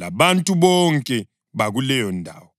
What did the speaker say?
labantu bonke bakuleyondawo.